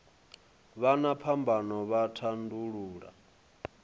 vha na phambano vha tandulula